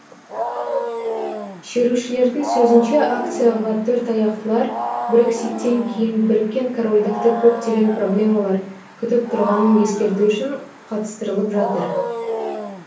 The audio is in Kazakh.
шерушілердің сөзінше акцияға төртаяқтылар брекситтен кейін біріккен корольдікті көптеген проблемалар күтіп тұрғанын ескерту үшін қатыстырылып жатыр